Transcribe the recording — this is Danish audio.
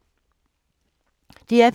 DR P3